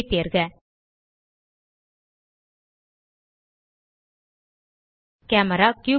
cube ஐ தேர்க camera